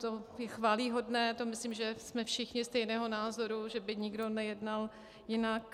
To je chvályhodné, to myslím, že jsme všichni stejného názoru, že by nikdo nejednal jinak.